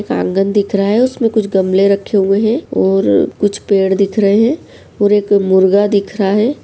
आँगन दिख रहा है | उसमें कुछ गमले रक्खे हुए हैं और कुछ पेड़ दिख रहे हैं और एक मुर्गा दिख रहा है ।